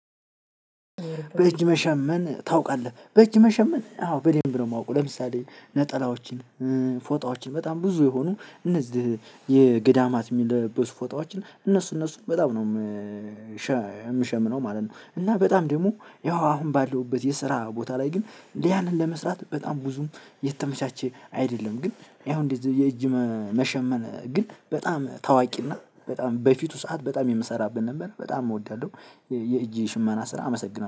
በእጅ መሸመን ታውቃለህ? በእጅ መሸመን አዎ በደንብ ነው የማውቀው ለምሳሌ ነጠላዎችን ፎጣዎችን በጣም ብዙ የሆኑ እነዚህ የገዳማት የሚለበሱ ፎጣዎችን እነሱ እነሱ በጣም ነው የምሸምነው ማለት ነው። እና በጣም ደግሞ ያው አሁን ባለውበት የስራ ቦታ ላይ ግን እንደያንን ለመስራት በጣም ብዙም የተመቻቸ አይደለም። ግን ያው እንደዚህ የእጅ መሸመን ግን በጣም ታዋቂና በጣም በፊቱ ሰዓት በጣም የምሰራበት ነበር በጣም እወዳለሁ። የእጄ ሽማና ስራ አመሰግናለሁ